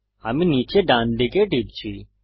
আমি নীচে ডানদিকে টিপছি